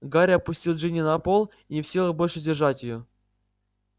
гарри опустил джинни на пол не в силах больше держать её